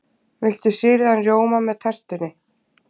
Viltu sýrðan rjóma með tertunni?